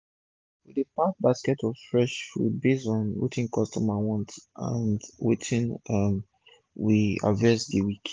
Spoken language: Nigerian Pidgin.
we dey pack basket of fresh food base on um wetin d customer want and wetin um we harvest for d week